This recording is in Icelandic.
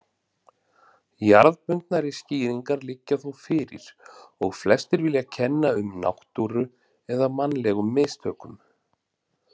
Jarðbundnari skýringar liggja þó fyrir og flestir vilja kenna um náttúru eða mannlegum mistökum.